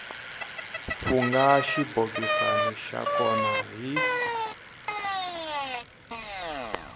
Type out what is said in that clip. fungha xibokisana xa kona hi